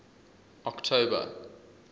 october